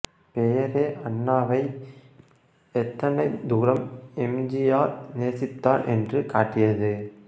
பெயரே அண்ணாவை எத்தனை தூரம் எம் ஜி ஆர் நேசித்தார் என்று காட்டியது